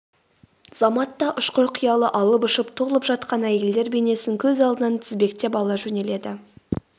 заматта ұшқыр қиялы алып ұшып толып жатқан әйелдер бейнесін көз алдынан тізбектеп ала жөнеледі